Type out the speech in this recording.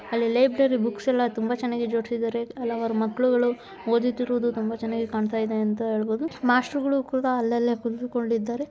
ಅಲ್ಲಿ library books ಯಲ್ಲಾ ತುಂಬಾ ಚನ್ನಾಗಿ ಜೋಡಿಸಿದ್ದಾರೆ. ಹಲವಾರು ಮಕ್ಕಳುಗಳು ಓದಿತ್ತಿರುವುದು ತುಂಬಾ ಚನ್ನಾಗಿ ಕಾನ್ತಾಯಿದೆ ಅಂತಾ ಹೇಳಬಹುದು. ಮಾಸ್ಟರ್ ಗಳು ಕೂಡಾ ಅಲ್ಲಲ್ಲೇ ಕುದ್ರಕೊಂಡಿದ್ದಾರೆ.